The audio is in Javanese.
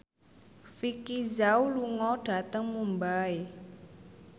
Vicki Zao lunga dhateng Mumbai